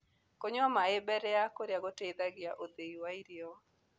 Kũnyua mae mbere ya kũrĩa gũteĩthagĩa ũthĩĩ wa irio